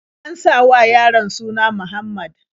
An sa wa yaron suna Muhammad.